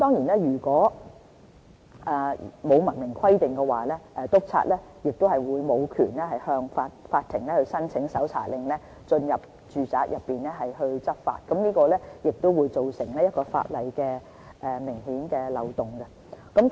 如果沒有明文規定的話，督察便無權向法庭申請搜查令，進入住宅執法，造成法例中一個明顯的漏洞。